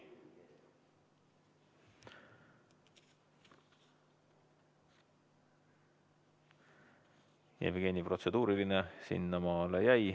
Jevgeni protseduuriline küsimus jäi sinnamaale.